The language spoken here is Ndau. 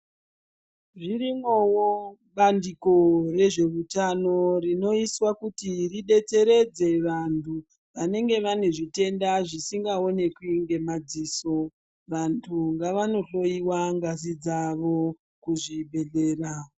Zvirimowo bandiko rezveutano rinoiswa kuti ribetseredze vantu vanenge vane zvitenda zvisingaonekwi ngemadziso. Vantu ngavanohloyiwa ngazi dzavo kuzvibhedhlera.